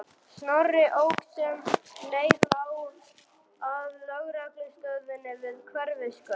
Snorri ók sem leið lá að lögreglustöðinni við Hverfisgötu.